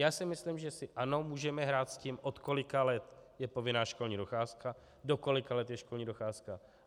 Já si myslím, že si, ano, můžeme hrát s tím od kolika let je povinná školní docházka, do kolika let je školní docházka.